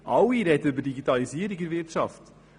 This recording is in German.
Alle sprechen von Digitalisierung in der Wirtschaft.